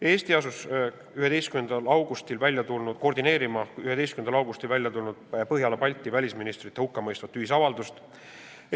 Eesti asus koordineerima 11. augustil välja tulnud Põhjala ja Balti riikide välisministrite hukkamõistvat ühisavaldust.